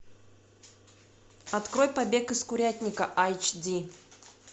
открой побег из курятника айч ди